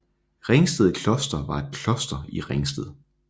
Ringsted Kloster var et kloster i Ringsted